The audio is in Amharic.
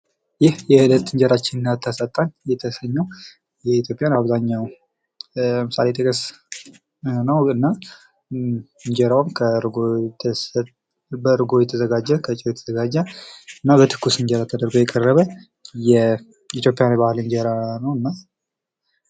ይህ የእለት እንጀራችን አታሳጣን የተሰኘው የኢትዮጵያን አብዛኛው ለምሳሌ መብል ነው። እንጀራውም ከእርጎ ፣ በእርጎ የተዘጋጀ ፣ በጨው የተዘጋጀ ነው። በትኩስ እንጀራ ተደርጎ የቀረበ የኢትዮጵያ የባህል እንጀራ ነው።